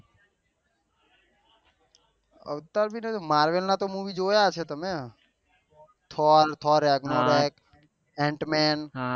અવતાર ભી નહી માર્વેલ ના મુવી તો જોયા હશે તમે તો Thor Thor Ragnarok Ant main